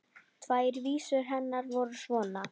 Tvær vísur hennar voru svona: